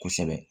Kosɛbɛ